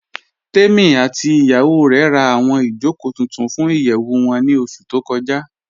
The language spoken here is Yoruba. Tèmí àti ìyàwó rè rá awọn ìjọkò tuntun fún ìyẹwu wọn ni oṣù tó kọja